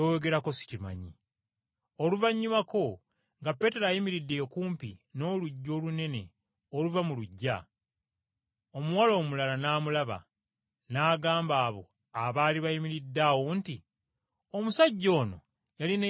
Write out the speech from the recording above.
Oluvannyumako nga Peetero ayimiridde okumpi n’oluggi olunene oluva mu luggya, omuwala omulala n’amulaba, n’agamba abo abaali bayimiridde awo nti, “Omusajja ono yali ne Yesu ow’e Nazaaleesi.”